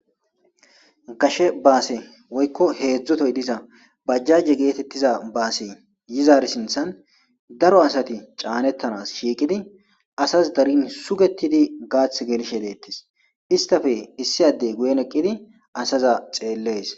Gashe baase woykko heezzu tohosa diza bajjaje geetettiza baase yizar sinthan daro asati caanettanas shiiqidi asasi darin sugetidi gaate gelshe deettis. Istappe issi adde guyen eqqidi asaza xeellees.